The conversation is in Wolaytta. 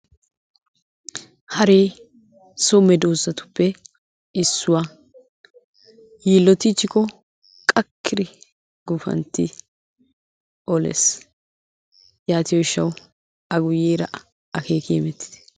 hare so medoosatuppe issuwaa. yiilotichchikko qakkidi gufanti olees. yaatiyo gishshaw a guyyeera akeeki hemetitte.